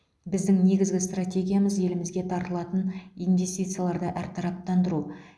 біздің негізгі стратегиямыз елімізге тартылатын инвестицияларды әртараптандыру